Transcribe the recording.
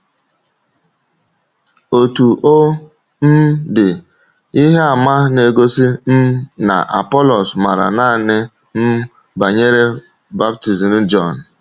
Ótù ọ um dị, ihe àmà na-egosi um na Apọlọs ‘màrà naanị um banyere baptizim Jọn.’